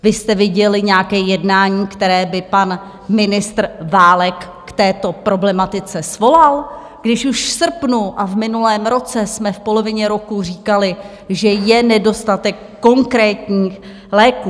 Vy jste viděli nějaké jednání, které by pan ministr Válek k této problematice svolal, když už v srpnu a v minulém roce jsme v polovině roku říkali, že je nedostatek konkrétních léků?